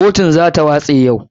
KOtun za ta watse yau.